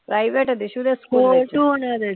private ਆ ਦੀਸ਼ੁ ਦੇ ਸਕੂਲ